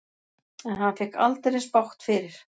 En hann fékk aldeilis bágt fyrir.